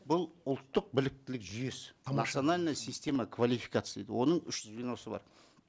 бұл ұлттық біліктілік жүйесі национальная система квалификации оның үш звеносы бар